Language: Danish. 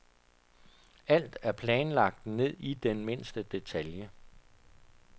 Alt er planlagt ned i den mindste detalje.